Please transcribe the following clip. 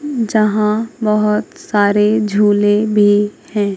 यहां बहुत सारे झूले भी हैं।